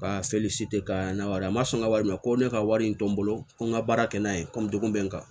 seli si tɛ ka na wari ma sɔn n ka wari mɛn ko ne ka wari in to n bolo ko n ka baara kɛ n'a ye komi degun bɛ n kan